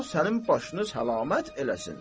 Allah sənin başını səlamət eləsin.